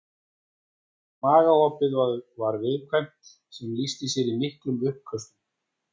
Magaopið var viðkvæmt sem lýsti sér í miklum uppköstum.